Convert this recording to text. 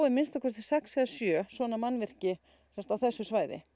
minnsta kosti sex eða sjö svona mannvirki sem sagt á þessu svæði